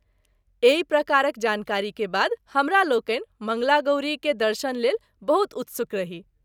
एहि प्रकारक जानकारी के बाद हमरालोकनि मंगला गौरी के दर्शन लेल बहुत उत्सुक रही।